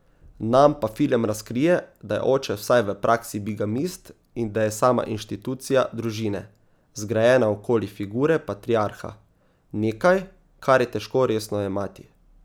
Nam pa film razkrije, da je oče vsaj v praksi bigamist in da je sama inštitucija družine, zgrajena okoli figure patriarha, nekaj, kar je težko resno jemati.